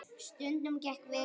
Stundum gekk vel, stundum illa.